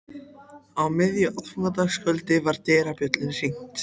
Á miðju aðfangadagskvöldi var dyrabjöllunni hringt.